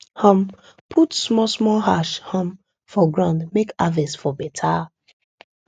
um put small small ash um for ground make harvest for beta